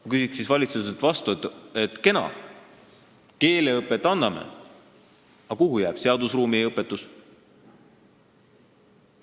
Ma küsin siis valitsuselt vastu: kena, et me keeleõpet anname, aga kuhu jääb seadusruumi õpetus?